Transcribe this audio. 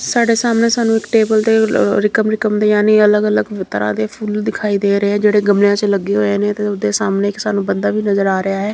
ਸਾਡੇ ਸਾਹਮਣੇ ਸਾਨੂੰ ਇੱਕ ਟੇਬਲ ਤੇ ਅਲੱਗ ਅਲੱਗ ਤਰ੍ਹਾਂ ਦੇ ਫੁੱਲ ਦਿਖਾਈ ਦੇ ਰਹੇ ਆ ਜਿਹੜੇ ਗਮਲਿਆਂ ਵਿੱਚ ਲੱਗੇ ਹੋਏ ਨੇ ਤੇ ਉਹਦੇ ਸਾਹਮਣੇ ਇੱਕ ਬੰਦਾ ਵੀ ਨਜ਼ਰ ਆ ਰਿਹਾ ਹੈ।